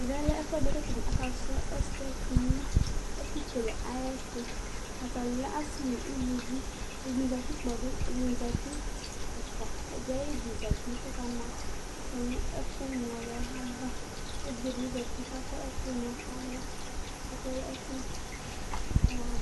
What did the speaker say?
Ɛvɛlɛ ɛfʋɛɖi kʋ ataŋi akasrɔ ɛsɛ tʋnu ɛku kele ayʋɛtu Ataŋi alɛ asi ŋu uluvi Ɛɖìní zɛti kpɔɖu Ɛɖìní zɛti ɛfʋa Ɛɖì aɣiɖi zɛti kʋ ɔka ma ifɔ ŋu ɛku nɔluɛ ava Evidze ɖi bi zɛti kʋ akɔ ɛku ŋu alɔ